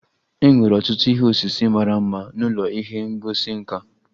E nwere ọtụtụ ihe osise mara mma n'ụlọ ihe ngosi nka.